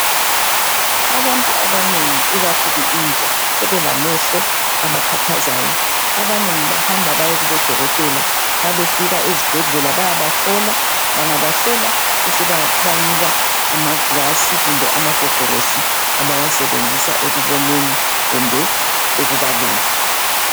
Abantu abanengi ikakhuku intsha , sebelamehlo abakhathazayo, abanengi bahamba baye kubodokotela. Nxa befika ezibhedlela bayabahlola ,bangabahlola besebebanika amagilasi kumbe amagogorosi abawasebenzisa ekuboneni kumbe ekubaleni.